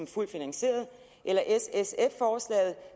fuldt finansieret eller s sf forslaget